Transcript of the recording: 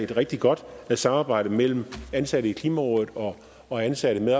rigtig godt samarbejde mellem ansatte i klimarådet og ansatte